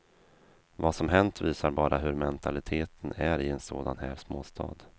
Vad som hänt visar bara hur mentaliteten är i en sådan här småstad.